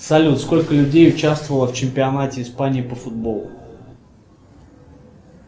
салют сколько людей участвовало в чемпионате испании по футболу